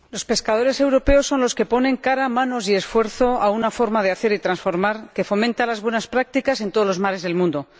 Señor Presidente, los pescadores europeos son los que ponen cara, manos y esfuerzo a una forma de hacer y transformar que fomenta las buenas prácticas en todos los mares del mundo.